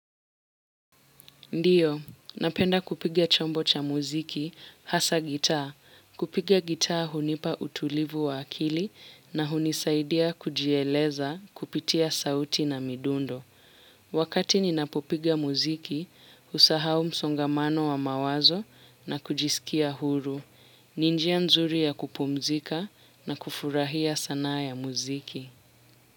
Ndiyo, napenda kupiga chombo cha muziki, hasa gitaa. Kupiga gitaa hunipa utulivu wa akili na hunisaidia kujieleza kupitia sauti na midundo. Wakati ninapopiga muziki, husahau msongamano wa mawazo na kujisikia huru. Ni njia nzuri ya kupumzika na kufurahia sanaa ya muziki.